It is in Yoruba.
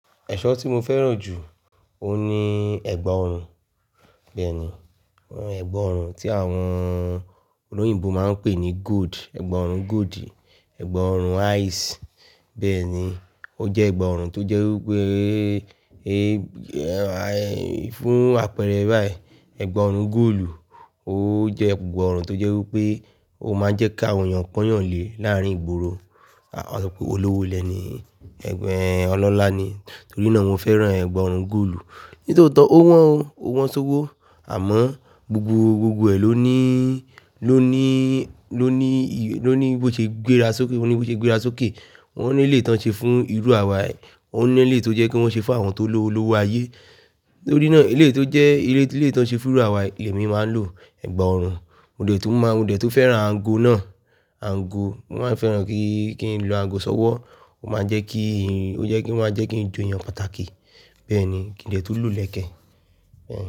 Ẹ̀ṣọ́ tí mo fẹ́ràn jù, ó ní ẹ̀gbà ọrùn. Bẹ́ẹ̀ni, ẹ̀gbà ọrùn tí àwọn olóyìnbo máa ń pè ní gold, ẹ̀gbà ọrùn gold, ẹ̀gbà ọrùn ice. Bẹ́ẹ̀ni, ó jẹ́ ẹ̀gbà ọrùn tó jẹ́ wí pé, fún àpẹẹrẹ báyìí, ẹ̀gbà ọrùn góòlù, ó jẹ́ ẹ̀gbà ọrùn tó jẹ́ wí pé ó máa ń jẹ́ kí àwọn èèyàn kó yàn lé láàárín ìgboro. A sọ pé olówó lẹ̀ nii, ọlọ́lá ni. Torí náà mo fẹ́ràn ẹ̀gbà ọrùn góòlù. Nítotó ó wọ́n, ó wọ́n ṣóówó, àmọ́ gbogbo, gbogbo ẹ̀ ló ní, ló ní, ló ní, ló ní ibo ṣe gbéra sókè, ó ní ibo ṣe gbéra sókè. Wọ́n ní ilé tán ṣe fún irú àwa, wọ́n ní ilé tó jẹ́ kí wọ́n ṣe fún àwọn tó lo olówó ayé. Nítorí náà ilé tó jẹ́ ilé tó lè tán ṣe fún irú àwa ilẹ̀ mi máa ń lo ẹ̀gbà ọrùn. Mo dẹ̀ tún mọ, mo dẹ̀ tún fẹ́ràn aago náà, aago. Mo máa ń fẹ́ràn kí, kí n lo aago ṣọ́wọ́. Ó máa ń jẹ́ kí, ó jẹ́ kí, ó máa ń jẹ́ kí n joyàn pàtàkì. Bẹ́ẹ̀ni, kí n dẹ̀ tó lù lẹ́kẹ̀. Ẹ.